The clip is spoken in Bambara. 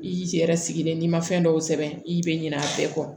I k'i cɛ yɛrɛ sigilen n'i ma fɛn dɔw sɛbɛn i bɛ ɲinɛ a bɛɛ kɔ